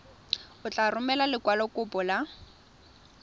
o tla romela lekwalokopo la